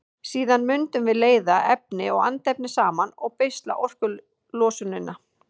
Síðan mundum við leiða efni og andefni saman og beisla orkulosunina.